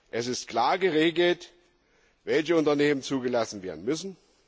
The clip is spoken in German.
Es ist klar geregelt, welche Unternehmen zugelassen werden müssen.